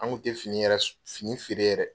Anw kun tɛ fini yɛrɛ fini feere yɛrɛ!